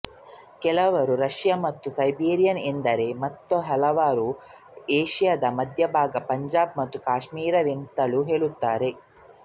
ಕೆಲವರು ರಷ್ಯಾ ಮತ್ತು ಸೈಬೀರಿಯಾ ಎಂದರೆ ಮತ್ತೆ ಹಲವರು ಏಷ್ಯಾದ ಮಧ್ಯಭಾಗಪಂಜಾಬ್ ಮತ್ತು ಕಾಶ್ಮೀರವೆಂತಲೂ ಹೆಳುತ್ತಾರೆ